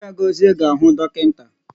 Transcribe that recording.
Chaigozie ga-ahụ dọkịnta.